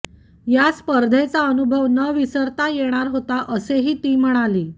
या स्पर्धेचा अनुभव न विसरता येणारा होता असेही ती म्हणाली